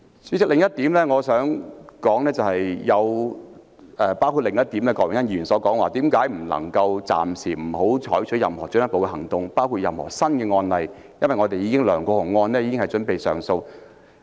主席，我想說的另一點是，郭榮鏗議員亦提到為何不能暫停採取任何進一步行動，包括確立任何新的案例，因為梁國雄案已經準備上訴。